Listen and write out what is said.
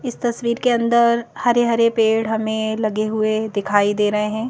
इस तस्वीर के अंदर हरे-हरे पेड़ हमें लगे हुए दिखाई दे रहे हैं।